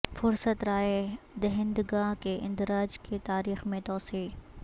فہرست رائے دہندگاں کے اندراج کی تاریخ میں توسیع